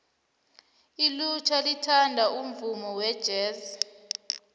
ilutjha lithanda umvumo wejesi